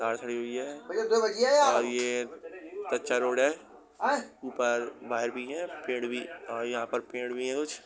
Car खड़ी हुई है और ये कच्चा रोड है। ऊपर वायर भी है और पेड़ भी और यहाँ पर पेड़ भी है कुछ।